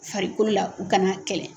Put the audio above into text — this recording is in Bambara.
Farikoo la u kan'a kɛlɛ